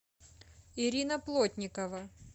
ирина плотникова